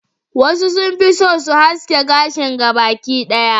wasu sun fi so su haske gashin gaba ki daya